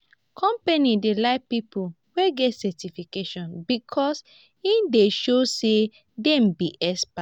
companies dey like people wey get certification because e dey show say dem be experts.